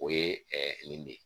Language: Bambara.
O ye nin de ye